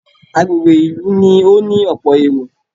Agbègbè ìlú ni ó ní ọ̀pọ̀ èrò